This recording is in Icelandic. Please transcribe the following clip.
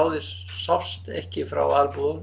sást ekki frá